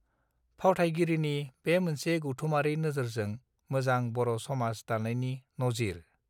फावथायगिरिनि बे मोनसे गौथुमारि नोजोरजों मोजां बर समाज दानायनि नजिर